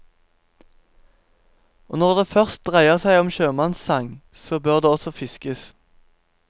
Og når det først dreier seg om sjømannssang, så bør det også fiskes.